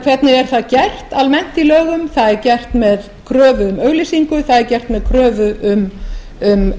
hvernig er það gert almennt í lögum það er gert með kröfu um auglýsingu það er gert með kröfu um